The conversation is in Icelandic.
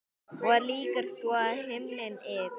Og lýkur svo: Himinn yfir.